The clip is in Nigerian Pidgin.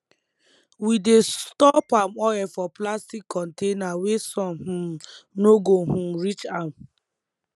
we dey store palm oil for plastic container wey sun um no go um reach am